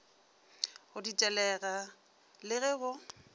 go ditelega le ge go